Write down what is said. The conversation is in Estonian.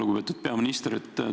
Lugupeetud peaminister!